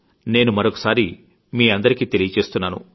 నేను మరొకసారి మీఅందరికీ తెలియజేస్తున్నాను